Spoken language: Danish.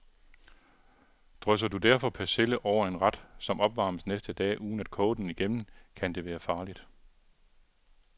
Drysser du derfor persille over en ret, som opvarmes næste dag, uden at koge den igennem, kan det være farligt.